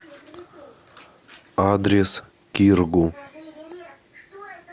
адрес киргу